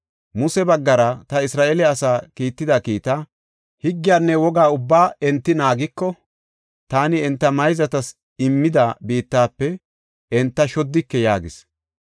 Muse baggara ta Isra7eele asaa kiitida kiita, higgiyanne woga ubbaa enti naagiko, taani enta mayzatas immida biittafe enta shoddike” yaagis.